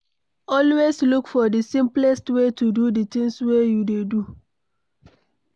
Always look for the simplest way to do the things wey you dey do